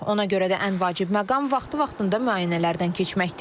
Ona görə də ən vacib məqam vaxtı-vaxtında müayinələrdən keçməkdir.